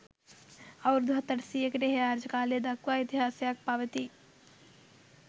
අවුරුදු හත් අටසීයකට එහා රජ කාලය දක්වා ඉතිහාසයක් පවතී